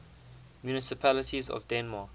municipalities of denmark